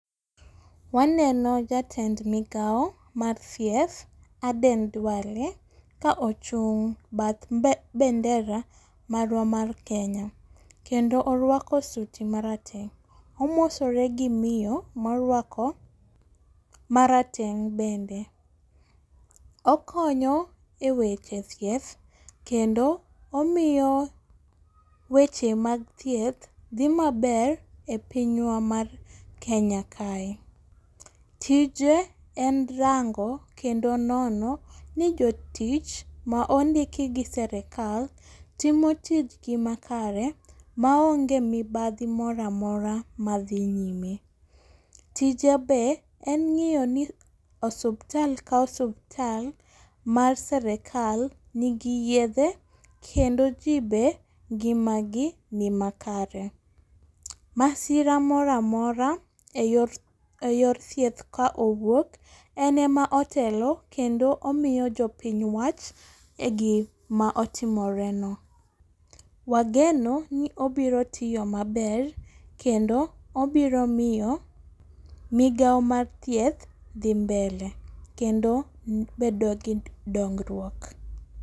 Waneno jatend migawo mar thieth Aden Duale ka ochung' bath bendera marwa mar kenya kendo orwako suti marateng',omosore gi miyo morwako marateng' bende, okonyo e weche thieth kendo omiyo weche mag thieth dhi maber e pinywa mar Kenya kae, tije en rango kendo nono ni jotich ma ondiki gi serekal timo tijgi makare maonge mibadhi mora mora madhi nyime. Tije be en ng'iyo ni osuptal ka osuptal mar serekal nigi yedhe kendo ji be ngimagi ni makare. Masira mora mora e yor thieth ka owuok, en ema otelo kendo omiyo jopiny wach e gima otimoreno. Wageno ni obiro tiyo maber kendo obiro miyo migawo mar thieth dhi mbele kendo bedo gi dongruok.